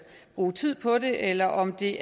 bruge tid på det eller om det